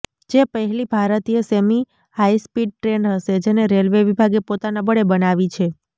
જે પહેલી ભારતીય સેમી હાઈસ્પીડ ટ્રેન હશે જેને રેલવે વિભાગે પોતાના બળે બનાવી છે